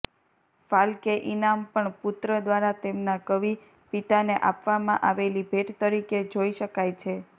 ફાલ્કે ઇનામ પણ પુત્ર દ્વારા તેમના કવિ પિતાને આપવામાં આવેલી ભેટ તરીકે જોઇ શકાય છે